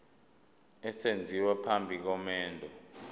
esenziwa phambi komendo